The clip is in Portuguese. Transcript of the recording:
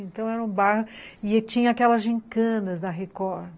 Então, era um bairro e tinha aquelas gincanas da Record.